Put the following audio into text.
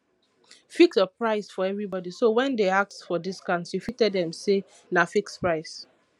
fix your price for everybody so when dem ask for discount you fit tell dem say na fixed price